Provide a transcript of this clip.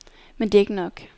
Men det er ikke nok.